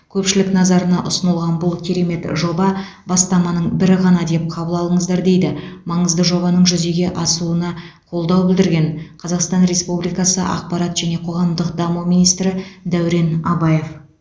көпшілік назарана ұсынылған бұл керемет жоба бастаманың бірі ғана деп қабыл алыңыздар дейді маңызды жобаның жүзеге асуына қолдау білдірген қазақстан республикасы ақпарат және қоғамдық даму министрі дәурен абаев